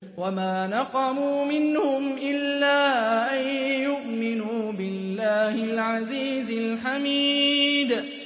وَمَا نَقَمُوا مِنْهُمْ إِلَّا أَن يُؤْمِنُوا بِاللَّهِ الْعَزِيزِ الْحَمِيدِ